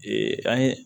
an ye